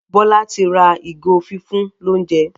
Bola tí ra ìgò fífún l'ounjẹ.